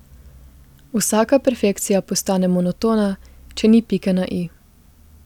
Vsaka perfekcija postane monotona, če ni pike na i.